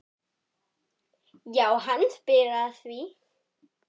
Já, hann spyr að því?